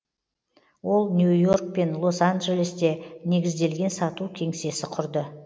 ол нью йорк пен лос анджелесте негізделген сату кеңсесі құрды